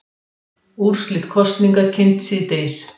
Úrslit kosninga kynnt síðdegis